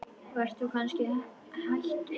Varst þú kannski hæstur?